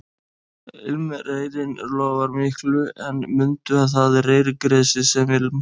Ilmreyrinn lofar miklu en mundu að það er reyrgresið sem ilmar